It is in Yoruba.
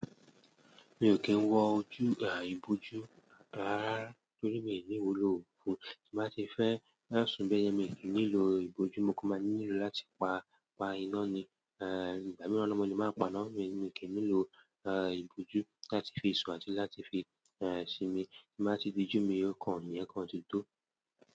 Mi ò wọ ìbòjú rárárárá torí mi ò ní ìwúlò tí mo batí fẹ́, fẹsùn bẹ́yẹn mi ò nílò ìboju mo kan máa nílò láti pa, pa iná ni, eh, ìgbà mìíràn náà mo lè máa ń pa iná mi. Èmi ò kì n nílò ìbòjú láti fi sùn àti lafi fi sinmi. Ti n bati di ojú mi, o kan, iyẹn dẹ ti tán.